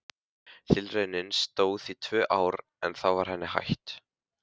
Tilraunin stóð í tvö ár en þá var henni hætt.